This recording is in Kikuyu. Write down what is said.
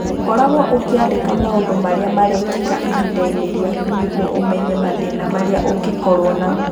Koragwo ukiandĩka maũndũ marĩa marekĩka ihinda-inĩ rĩaku nĩguo ũmenye mathĩna marĩa ũngĩkorũo namo.